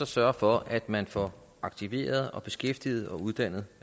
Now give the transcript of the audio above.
sørge for at man får aktiveret og beskæftiget og uddannet